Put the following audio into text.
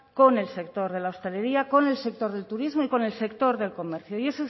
con el sector de la hostelería con el sector del turismo y con el sector del comercio y